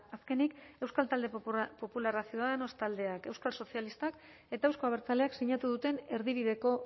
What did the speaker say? azkenik euskal talde popularra ciudadanos taldeak euskal sozialistak eta euzko abertzaleak sinatu duten erdibideko